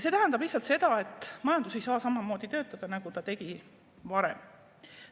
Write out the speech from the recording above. See tähendab lihtsalt seda, et majandus ei saa samamoodi toimida, nagu ta toimis varem.